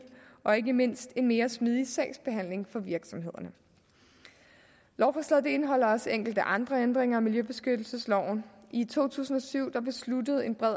og ikke mindst en mere smidig sagsbehandling for virksomhederne lovforslaget indeholder også enkelte andre ændringer af miljøbeskyttelsesloven i to tusind og syv besluttede en bred